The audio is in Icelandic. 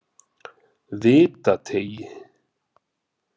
Vitateigi